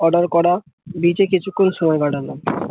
order করা beach এ কিছু ক্ষণ সময় কাটানো।